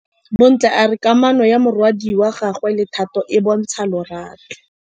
Bontle a re kamanô ya morwadi wa gagwe le Thato e bontsha lerato.